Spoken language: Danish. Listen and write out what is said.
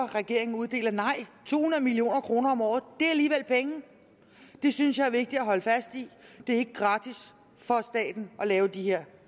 regeringen uddeler nej to hundrede million kroner om året er alligevel penge og det synes jeg er vigtigt at holde fast i det er ikke gratis for staten at lave de her